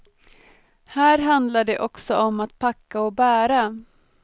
Här handlar det också om att packa och bära.